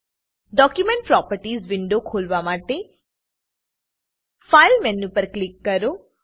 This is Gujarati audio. ડોક્યુમેન્ટ પ્રોપર્ટીઝ વિન્ડો ખોલવા માટે ફાઇલ મેનુ પર ક્લિક કરો